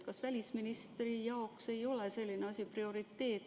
Kas välisministri jaoks ei ole selline asi prioriteet?